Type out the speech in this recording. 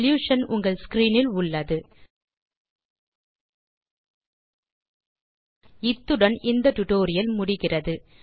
solution உங்கள் screen இல் உள்ளது இத்துடன் இந்த டுடோரியல் முடிகிறது